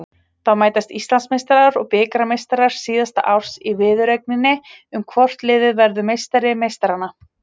Þá mætast Íslandsmeistarar og bikarmeistarar síðasta árs í viðureigninni um hvort liðið verður meistari meistaranna.